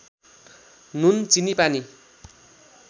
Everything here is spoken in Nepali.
नुन चिनी पानी